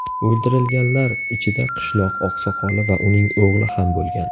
O‘ldirilganlar ichida qishloq oqsoqoli va uning o‘g‘li ham bo‘lgan.